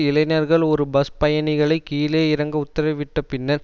இளைஞர்கள் ஒரு பஸ் பயணிகளை கீழே இறங்க உத்தரவிட்ட பின்னர்